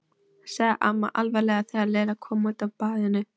sagði amma alvarleg þegar Lilla kom út af baðinu.